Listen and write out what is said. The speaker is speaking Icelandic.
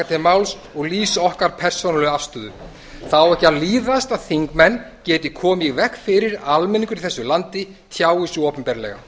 til máls og lýsa okkur persónulegu afstöðu það á ekki að líðast að þingmenn geti komið í veg fyrir að almenningur í þessu landi tjái sig opinberlega